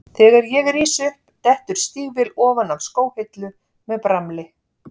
Þegar ég rís upp dettur stígvél ofan af skóhillu með bramli.